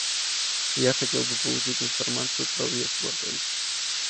я хотел бы получить информацию про въезд в отель